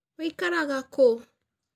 Wĩikaraga kũ?